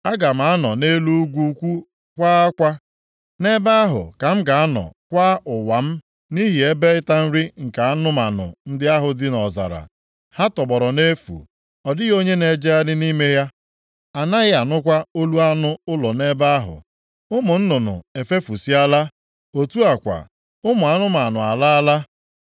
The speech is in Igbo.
Aga m anọ nʼelu ugwu ukwu kwa akwa. Nʼebe ahụ ka m ga-anọ kwaa ụwa m nʼihi ebe ịta nri nke anụmanụ ndị ahụ dị nʼọzara. Ha tọgbọrọ nʼefu. Ọ dịghị onye na-ejegharị nʼime ya. A naghị anụkwa olu anụ ụlọ nʼebe ahụ. Ụmụ nnụnụ efefusịala. Otu a kwa, ụmụ anụmanụ alaala.